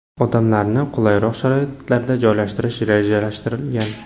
Odamlarni qulayroq sharoitlarda joylashtirish rejalashtirilgan.